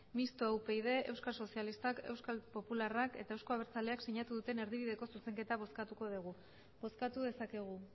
mistoa upyd euskal sozialistak euskal popularrak eta euzko abertzaleak sinatu duten erdibideko zuzenketa bozkatuko dugu bozkatu dezakegu